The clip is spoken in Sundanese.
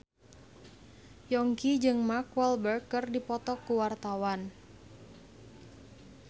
Yongki jeung Mark Walberg keur dipoto ku wartawan